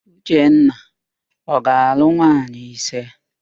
Uchenna ọ ga-alụ nwaanyị ise?